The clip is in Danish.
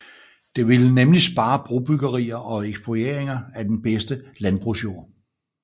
Det ville nemlig spare brobyggerier og eksproprieringer af den bedste landbrugsjord